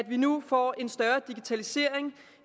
vi nu får en større digitalisering